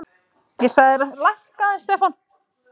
Líklega er það mun fyrr, hugsanlega snemma á fornsteinöld.